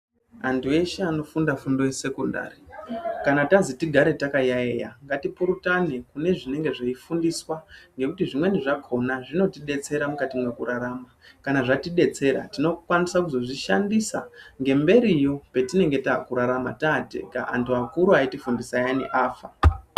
Antu eshe anogunda fundo yesekondari kana tazi tigare takayaiya ngatipurutane kune zvinenge zveifundiswa ngekuti zvimweni zvakhona zvinotidetsera mukati mwrkurarama kana zvatidetsera tinokwanise kuzozvishandisa ngemberiyo petinenge takurarama tatega antu akuru aitigundisa ayani afa.